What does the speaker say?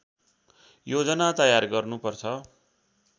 योजना तयार गर्नु पर्छ